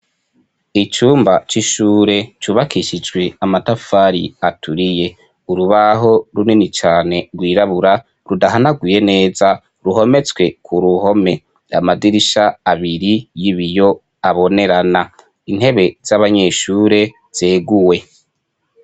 Icumba c'ishure cubakishijwe amatafari aturiye, urubaho runini cane rwirabura rudahanaguye neza ruhometswe ku ruhome, amadirisha abiri y'ibiyo abonerana, intebe z'abanyeshure zeguwe.